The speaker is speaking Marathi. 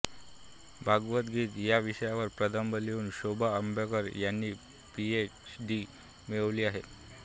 भावगीत या विषयावर प्रबंध लिहून शोभा अभ्यंकर यांनी पीएच डी मिळवली आहे